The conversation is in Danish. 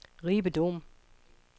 Ribe Dom